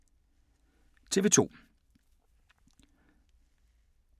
TV 2